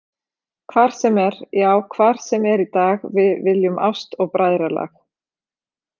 Hvar sem er, já hvar sem er í dag við viljum ást og bræðralag.